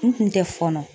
N kun tɛ fɔnɔ